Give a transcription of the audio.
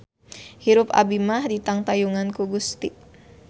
Hirup abi mah ditangtayungan ku Gusti